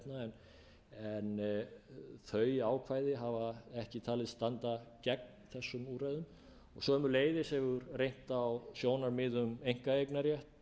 hvívetna en þau ákvæði hafa ekki verið talin standa gegn þessum úrræðum sömuleiðis hefur reynt á sjónarmið um einkaeignarrétt